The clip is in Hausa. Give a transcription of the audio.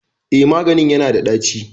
Eh maganin yana da ɗaci